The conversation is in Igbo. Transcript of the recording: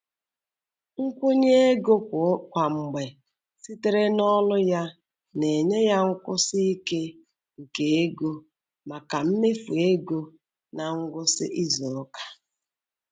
Nkwụnye ego kwa mgbe sitere n'ọrụ ya na-enye ya nkwụsi ike nke ego maka mmefu ego ná ngwụsị izuụka.